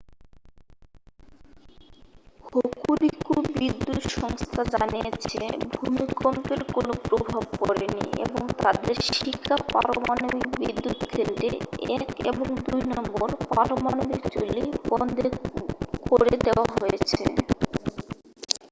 Hokuriku বিদ্যুৎ সংস্থা জানিয়েছে ভূমিকম্পের কোনও প্রভাব পড়েনি এবং তাদের শিকা পারমাণবিক বিদ্যুৎকেন্দ্রে 1 এবং 2 নম্বর পারমাণবিক চুল্লি বন্ধ করে দেওয়া হয়েছে